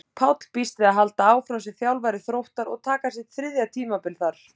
Páll býst við að halda áfram sem þjálfari Þróttar og taka sitt þriðja tímabil þar.